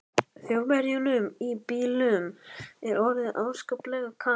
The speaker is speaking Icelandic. Þjóðverjunum í bílnum er orðið afskaplega kalt.